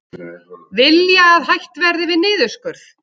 Vilja að hætt verði við niðurskurð